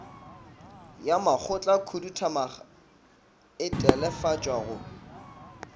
ya makgotlakhuduthamaga e telefatswa go